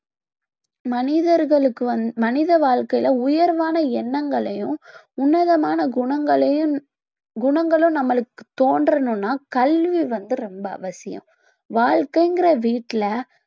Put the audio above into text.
மனிதர்களுக்கு வந்~ மனித வாழ்க்கையில உயர்வான எண்ணங்களையும் உன்னதமான குணங்களையும் குணங்களும் நம்மளுக்கு தோன்றனும்னா கல்வி வந்து ரொம்ப அவசியம் வாழ்க்கைங்ற வீட்டில